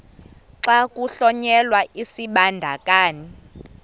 xa kuhlonyelwa isibandakanyi